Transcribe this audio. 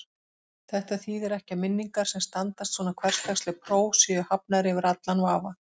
Þetta þýðir ekki að minningar sem standast svona hversdagsleg próf séu hafnar yfir allan vafa.